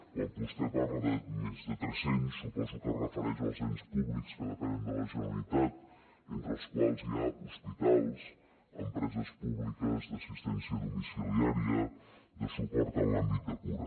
quan vostè parla de més de tres cents suposo que es refereix als ens públics que depenen de la generalitat entre els quals hi ha hospitals empreses públiques d’assistència domiciliària de suport en l’àmbit de cura